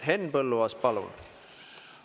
Henn Põlluaas, palun!